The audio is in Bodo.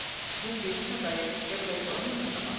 जों बेनि थाखाय एफ्लाइ खालामनांगोन नामा?